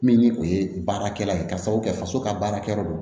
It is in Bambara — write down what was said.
Min ni o ye baarakɛla ye k'a sababu kɛ faso ka baarakɛyɔrɔ don